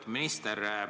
Lugupeetud minister!